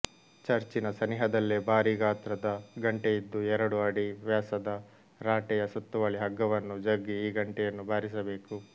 ಚರ್ಚಿನ ಸನಿಹದಲ್ಲೇ ಭಾರೀ ಗಾತ್ರದ ಗಂಟೆಯಿದ್ದು ಎರಡು ಅಡಿ ವ್ಯಾಸದ ರಾಟೆಯ ಸುತ್ತುವಳಿ ಹಗ್ಗವನ್ನು ಜಗ್ಗಿ ಈ ಗಂಟೆಯನ್ನು ಬಾರಿಸಬೇಕು